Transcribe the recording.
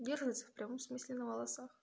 держится в прямом смысле на волосах